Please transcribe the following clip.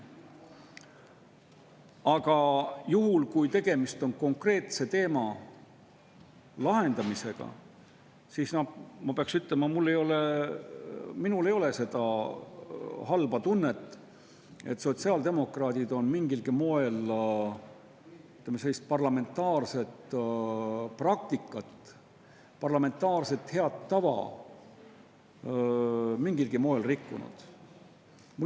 Aga kui tegemist on konkreetse lahendamisega, siis ma pean ütlema, et minul ei ole seda halba tunnet, et sotsiaaldemokraadid oleks mingilgi moel, ütleme, sellist parlamentaarset praktikat, parlamentaarset head tava rikkunud.